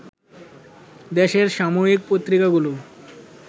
দেশের সাময়িক পত্রিকাগুলো